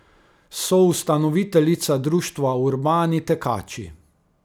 Soustanoviteljica društva Urbani tekači.